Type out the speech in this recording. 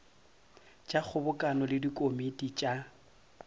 tša kgobokano le dikomiti tša